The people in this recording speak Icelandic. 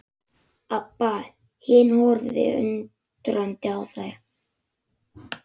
Abba hin horfði undrandi á þær.